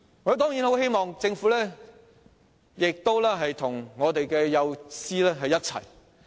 我當然很希望政府能與幼稚園教師站在同一陣線。